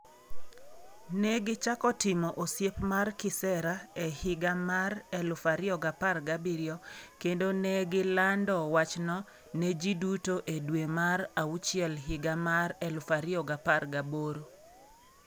Ne gichako timo osiep mar kisera e higa mar 2017 kendo ne gilando wachno ne ji duto e dwe mar auchiel higa mar 2018.